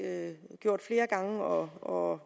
gjort flere gange og